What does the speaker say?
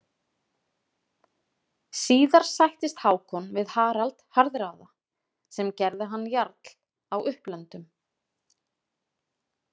Síðar sættist Hákon við Harald harðráða, sem gerði hann jarl á Upplöndum.